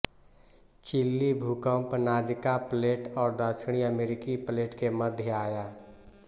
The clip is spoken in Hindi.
चिली भूकंप नाजका प्लेट और दक्षिणी अमेरिकी प्लेट के मध्य आया